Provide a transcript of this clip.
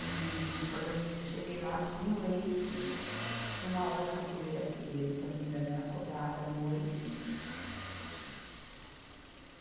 E quando eu cheguei lá, tinha o leite, tinha uma aula de capoeira que, se eu não me engano, era cobrada à noite.